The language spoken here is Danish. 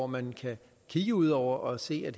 man kan kigge ud over og se at